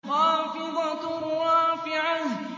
خَافِضَةٌ رَّافِعَةٌ